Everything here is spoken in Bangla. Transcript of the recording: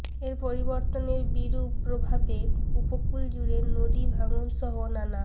এ পরিবর্তনের বিরূপ প্রভাবে উপকূল জুড়ে নদী ভাঙনসহ নানা